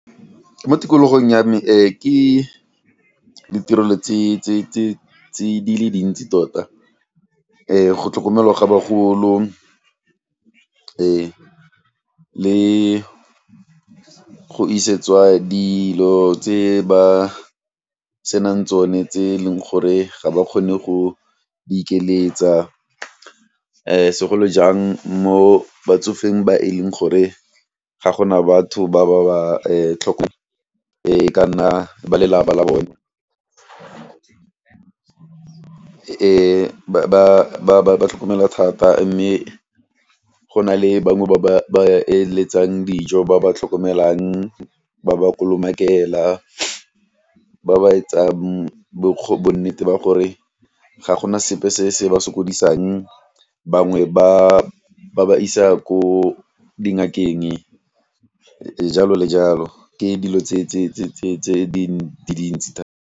Mo tikologong ya me ke ditirelo tse di le dintsi tota go tlhokomelwa ga bagolo le go isetswa dilo tse ba senang tsone tse e leng gore ga ba kgone go ikeletsa segolo jang mo batsofeng ba e leng gore ga gona batho ba ba ba e ka nna balelapa la Bone. Ba tlhokomelwa thata mme go na le bangwe ba ba ba eletsang dijo ba ba tlhokomelang ba ba kolomakela, ba ba etsang bo bonnete ba gore ga gona sepe se se ba sokodisang, bangwe ba ba isa ko dingakeng jalo le jalo ke dilo tse dintsi .